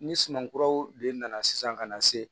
Ni sumankuraw de nana sisan ka na se